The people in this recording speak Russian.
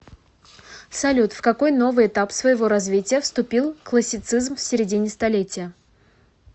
салют в какой новый этап своего развития вступил классицизм в середине столетия